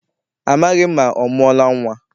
Amaghị m ma ọ mụọla nnwa.